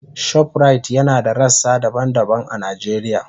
Shoprite yana da rassa daban-daban a Najeriya.